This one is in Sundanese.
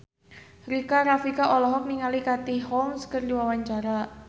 Rika Rafika olohok ningali Katie Holmes keur diwawancara